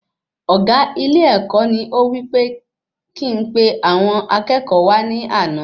Ọgá ilé-èkó ní ó wí pe kí n pe àwọn akẹ́kọ̀ọ́ wa ní àna